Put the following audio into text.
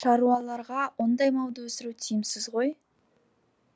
шаруаларға ондай малды өсіру тиімсіз ғой